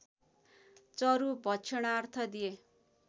चरु भक्षणार्थ दिए